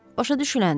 Başa düşüləndir.